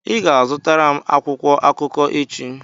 ị ga-azụtara m akwụkwọ akụkọ echi